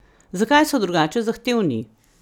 Zakaj so drugače zahtevni?